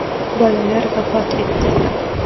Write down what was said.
Bolalar vafot etdi.